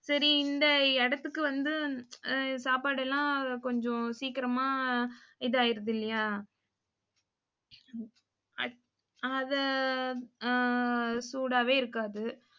சரி, இந்த இடத்துக்கு வந்து, ஆஹ் சாப்பாடு எல்லாம் கொஞ்சம் சீக்கிரமா இது ஆயிடுது இல்லையா அதை ஆஹ் சூடாவே இருக்காது.